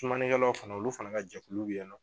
Sumani kɛlaw fana olu fana ka jɛkulu bɛ ye nɔ.